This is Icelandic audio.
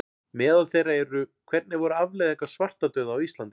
Meðal þeirra eru: Hvernig voru afleiðingar svartadauða á Íslandi?